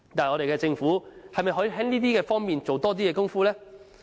我們的政府又可否在這方面多下些工夫呢？